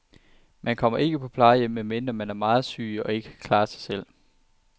Man kommer ikke på plejehjem, medmindre man er meget syg og ikke kan klare sig selv.